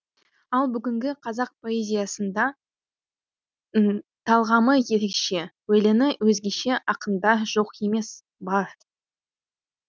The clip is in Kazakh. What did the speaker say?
ал бүгінгі қазақ поэзиясында да талғамы ерекше өлеңі өзгеше ақындар жоқ емес бар